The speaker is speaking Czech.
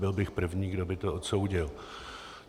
Byl bych první, kdo by to odsoudil.